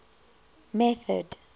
method